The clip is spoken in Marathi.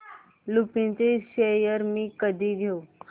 लुपिन चे शेअर्स मी कधी घेऊ